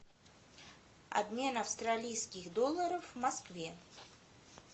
обмен австралийских долларов в москве